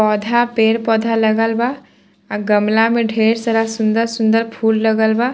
पौधा पेड़ पौधा लगल बा अ गमला में ढेर सारा सुन्दर सुन्दर फूल लगल बा |